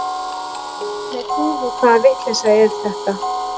Þúfu hvaða vitleysa er þetta!